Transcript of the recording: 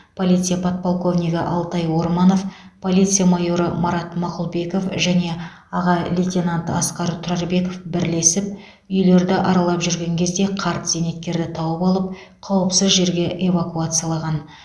полиция подполковнигі алтай орманов полиция майоры марат мақұлбеков және аға лейтенант асқар тұрарбеков бірлесіп үйлерді аралап жүрген кезде қарт зейнеткерді тауып алып қауіпсіз жерге эвакуациялаған